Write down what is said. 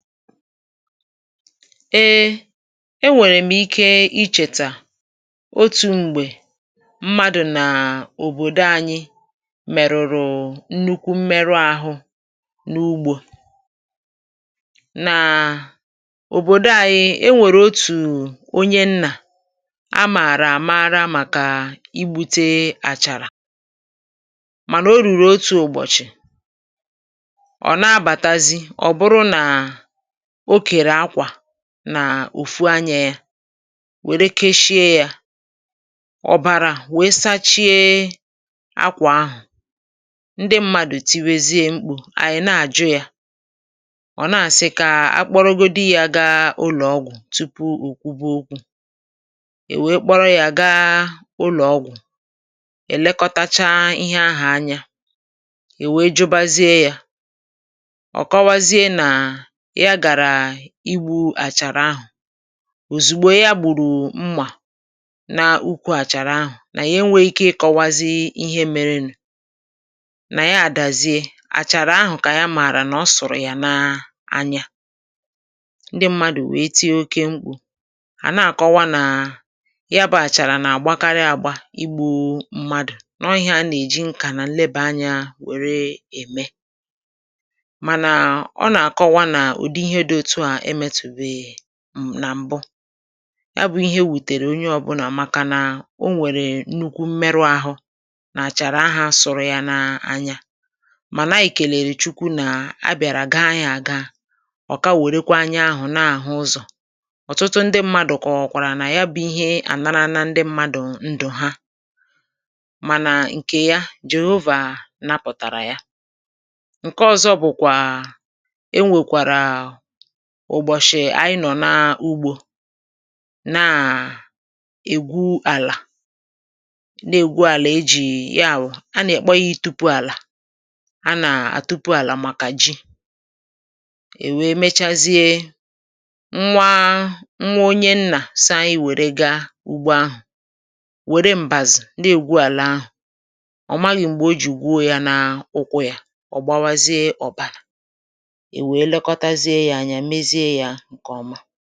Ee nwèrè m ike ichètà otu̇ m̀gbè mmadụ̀ nà òbòdo anyị merụ̀rụ̀ nnukwu mmerụ ahụ n’ugbȯ. N'òbòdo anyị e nwèrè otù onye nnà a màrà àmara màkà igbu̇te àchàrà, mànà o rùrù otu ụ̀bọ̀chị̀, ọ̀ nà-abàtazị ọ̀ bụrụ nà ọ kere akwa n'òfu anyȧ yȧ wère keshie yȧ, ọ̀bàrà wèe sachie akwà ahụ̀, ndị mmadụ̀ tiwèziè mkpù, ànyị̀ na-àjụ yȧ, ọ̀ na-àsị kà akpọrọgodi yȧ gaa ụlọ̀ ọgwụ̀ tupu ò kwube okwu, è wèe kpọrọ yȧ gaa ụlọ̀ ọgwụ̀ è lekọtacha ihe ahụ̀ anya, è wèe jụbazie yȧ, okobazie naa ya gara igbu àchàrà ahụ, òzìgbò ya gbùrù mmà n’ukwu àchàrà ahù nà ya enweghị ikė ịkọwazị ihe merenù, nà ya àdàzie, àchàrà ahù kà ya màrà nà ọ sụ̀rụ̀ yà nàa anyȧ. Ndị mmadụ̀ wèe tii okė mkpù àna-àkọwa nà ya bà àchàrà nà-àgbakarị àgba igbu̇ mmadụ̀ noọ ihe anà-èji nkà nà nleba anyȧ wère ème. Manà, Ona-akọwa n'ụdị ihe otú a emetubeghi ya na m̀bụ, ya bụ̇ ihe wutèrè onye ọbụlà maka nà o nwèrè nnukwu m̀merụ ahụ̇ nà àchàrà ahụ̇ asụ̇rụ̇ ya n’anya, mà nà ànyị kelèrè chukwu nà a bị̀àrà gaa yȧ àga, ọ̀ka wèrekwa anya ahụ̀ na-àhụ ụzọ̀. Otụtụ ndị mmadụ̀ kàwọ̀kwàrà nà ya bụ̇ ihe ànara na ndị mmadụ̀ ndụ̀ ha mànà ǹkè ya, Johoova napụ̀tàrà ya. Nke ọ̇zọ Obụ̀kwà, e nwèkwàrà ụ̀bọ̀chị̀ ànyị nọ̀ n’ugbȯ, na-ègwu àlà na-ègwu àlà e jì yààwụ̀ a nà-akpọ ya itupu àlà a nà-àtupu àlà màkà ji, è wèe mechazie nwa nwa onye nnà so anyi wère ga ugbo ahụ̀ wère mbazu na-ègwu àlà ahụ̀ ọ̀ maghị̇ m̀gbè o jì gwuo ya nà ụkwụ̇ yȧ ọ̀ gbawazie ọ̀bàlà, ewee lekọtazie ya anya, mezie ya ǹkè ọma.